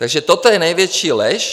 Takže toto je největší lež.